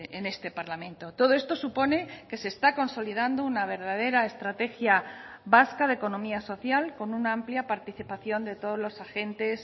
en este parlamento todo esto supone que se está consolidando una verdadera estrategia vasca de economía social con una amplia participación de todos los agentes